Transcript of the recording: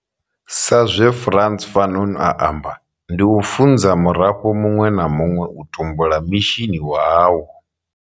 Sa zwe Frantz Fanon a amba, ndi u funza murafho muṅwe na muṅwe u tumbula mishini wawo.